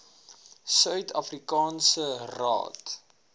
suid afrikaanse raad